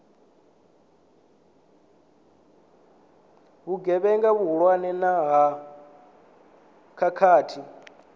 vhugevhenga vhuhulwane na ha khakhathi